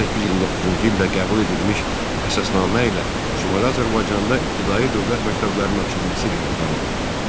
1829-cu ildə qəbul edilmiş əsasnamə ilə Şimali Azərbaycanda ibtidai dövlət məktəblərinin açılması qərarı alındı.